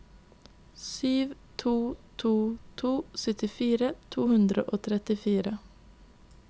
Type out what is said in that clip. sju to to to syttifire to hundre og trettifire